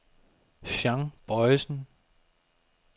Jean Bojsen